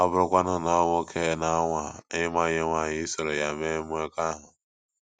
Ọ bụrụkwanu na ọ nwoke na-anwaa ịmanye nwanyị isoro ya nwee mmekọahụ?